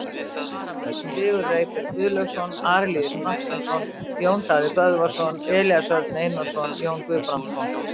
Varamenn: Sigurður Eyberg Guðlaugsson, Arilíus Marteinsson, Jón Daði Böðvarsson, Elías Örn Einarsson, Jón Guðbrandsson.